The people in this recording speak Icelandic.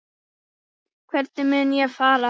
Hvernig mun ég fara?